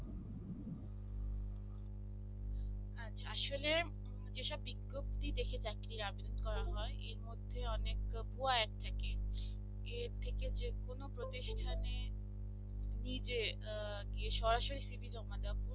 আসলে যেসব বিজ্ঞপ্তি দেখে চাকরির আবেদন করা হয় এর মধ্যে অনেক টি add থাকে এর থেকে যে কোন প্রতিষ্ঠানে নিজে গিয়ে সরাসরি cv জমা দেওয়া উচিত